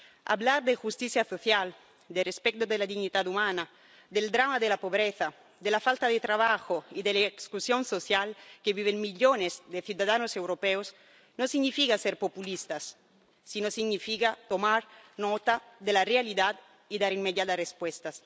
Hablar de justicia social, de respeto de la dignidad humana, del drama de la pobreza, de la falta de trabajo y de la exclusión social que viven millones de ciudadanos europeos no significa ser populistas, sino que significa tomar nota de la realidad y dar inmediatas respuestas.